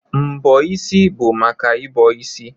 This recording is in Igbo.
Mbọ isi bụ maka ị bọ isi.